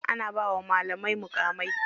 Ana bawa malamai muƙamai.